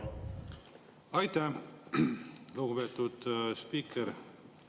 Aitäh, lugupeetud spiiker!